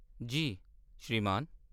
जी श्रीमान।